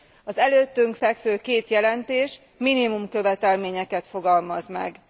Az előttünk fekvő két jelentés minimumkövetelményeket fogalmaz meg.